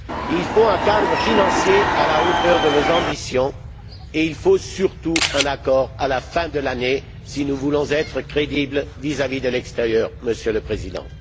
Il nous faut un cadre financier à la hauteur de nos ambitions et il nous faut, surtout, un accord à la fin de l'année, si nous voulons être crédibles vis à vis de l'extérieur, Monsieur le Président.